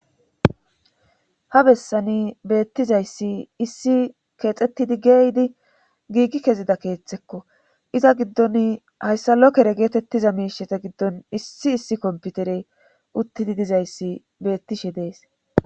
Ha bessani beettizayssi issi keexettidi geyidi giigi kezida keeththekko iza giddon hayssalokere geetettiza miishete giddon issi issi komputerey uttidi dizayssi beettishe dees.